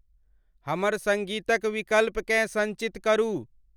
हमर संगीतक विकल्पकें संचित करू ।